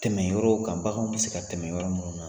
Tɛmɛ yɔrɔw kan baganw tɛ se ka tɛmɛ yɔrɔ mun na